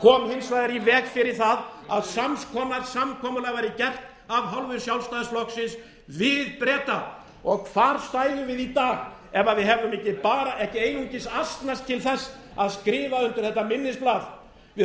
vegar í veg fyrir það að sams konar samkomulag væri gert af hálfu sjálfstæðisflokksins við breta og hvar stæðum við í dag ef við hefðum ekki einungis asnast til þess að skrifa undir þetta minnisblað við